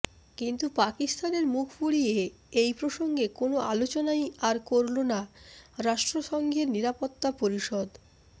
কিন্তু পাকিস্তানের মুখ পুড়িয়ে এই প্রসঙ্গে কোনো আলোচনাই আর করলোনা রাষ্ট্রসংঘের নিরাপত্তা পরিষদ